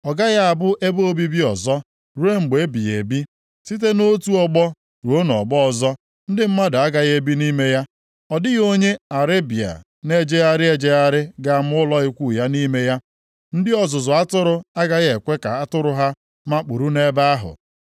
Ọ gaghị abụ ebe obibi ọzọ ruo mgbe ebighị ebi. Site nʼotu ọgbọ ruo nʼọgbọ ọzọ ndị mmadụ agaghị ebi nʼime ya. Ọ dịghị onye Arebịa na-ejegharị ejegharị ga-ama ụlọ ikwu ya nʼime ya; ndị ọzụzụ atụrụ agaghị ekwe ka atụrụ ha makpuru nʼebe ahụ.